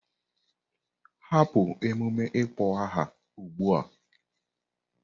Hapụ emume ịkpọ aha a ugbu a!